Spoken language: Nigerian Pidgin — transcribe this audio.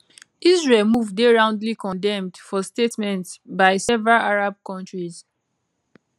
israel move dey roundly condemned for statements by several arab countries